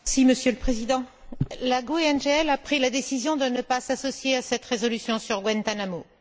Monsieur le Président, la GUE NGL a pris la décision de ne pas s'associer à cette résolution sur Guantánamo.